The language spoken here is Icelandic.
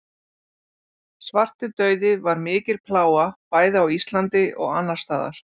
svartidauði var mikil plága bæði á íslandi og annars staðar